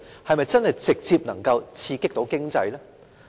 是否能夠直接刺激經濟呢？